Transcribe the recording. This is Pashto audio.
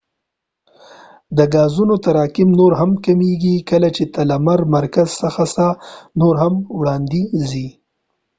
د ګازونو تراکم نور هم کمیږی کله چې ته د لمر د مرکز څخه نور هم وړاندي ځی